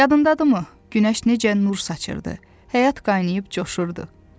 Yadındadırımı, günəş necə nur saçırırdı, həyat qaynayıb coşurdu.